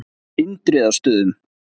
Indriðastöðum